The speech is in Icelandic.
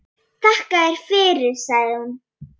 Þakka þér fyrir, sagði hún.